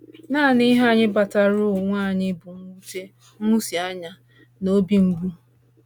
Naanị ihe anyị kpataara onwe anyị bụ mwute, nhụsianya, na obi mgbu.